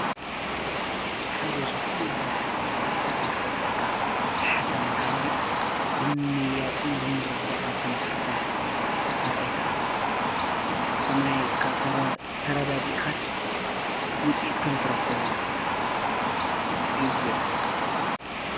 ሓደ ዝኾኑ የኾነ ሓሳብ ወይ ከዓ ዘይተረድአካ ሓሳብ እንተሃልዩ ብምያጥን ብምርዳእን ከም ዘፍታሕ ካልኣይ ከዓ ተማይ ተረዳ ድኢኻሲ ውፂት ከም ትረኽወሉ እዩ ዝገልፅ።